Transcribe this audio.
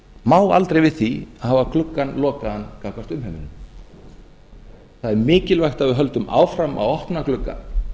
má aldrei við því að hafa gluggann lokaðan gagnvart umheiminum það er mikilvægt að við höldum áfram að opna glugga